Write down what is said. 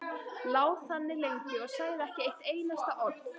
Lá þannig lengi og sagði ekki eitt einasta orð.